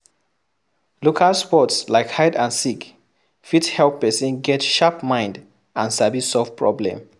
Local sports like hide and seek fit help person get sharp mind and sabi solve problem